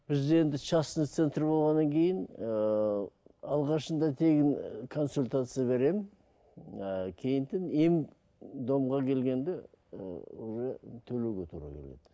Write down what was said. бізде енді частный центр болғаннан кейін ыыы алғашында тегін ы консультация беремін ыыы ем домға келгенде ы уже төлуге тура келеді